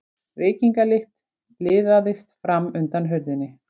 Reykingalykt liðaðist fram undan hurðinni.